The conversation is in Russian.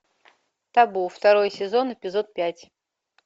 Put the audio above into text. табу второй сезон эпизод пять